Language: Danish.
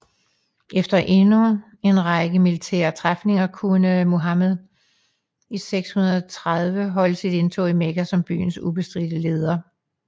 Efter en række militære træfninger kunne Muhammed i 630 holde sit indtog i Mekka som byens ubestridte leder